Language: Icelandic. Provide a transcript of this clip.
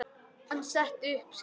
Hann setti upp skeifu.